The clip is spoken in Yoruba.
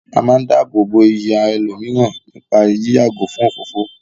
A máa ń dáàbò bo iyì àwọn ẹlòmíràn nípá yí yàgò fún òfófó.